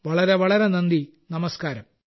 വളരെ വളരെ നന്ദി നമസ്കാരം